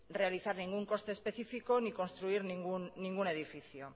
realizar ningún coste específico ni construir ningún edificio